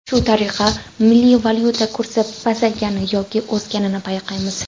Shu tariqa milliy valyuta kursi pasaygani yoki o‘sganini payqaymiz.